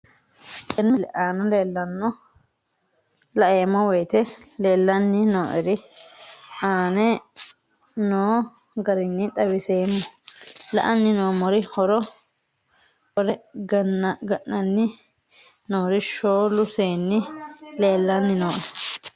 Tenne misile aana laeemmo woyte leelanni noo'ere aane noo garinni xawiseemmo. La'anni noomorri hore ga'nanni noori shoolu seenni leelanni nooe